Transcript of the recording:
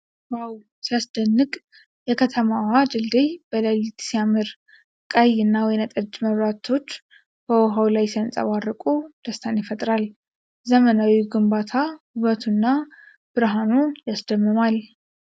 ዋው ሲያስደንቅ! የከተማዋ ድልድይ በሌሊት ሲያምር ! ቀይ እና ወይን ጠጅ መብራቶች በውሃ ላይ ሲንፀባረቁ ደስታን ይፈጥራል ። ዘመናዊው ግንባታ ውበቱ እና ብርሃኑ ያስደምማል!